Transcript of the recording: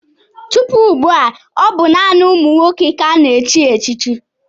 Tupu ugbu a, ọ bụ naanị ụmụ nwoke ka a na-echi echichi.